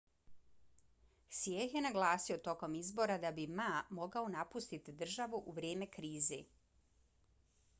hsieh je naglasio tokom izbora da bi ma mogao napustiti državu u vrijeme krize